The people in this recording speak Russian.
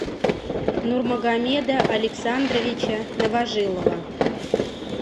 нурмагомеда александровича новожилова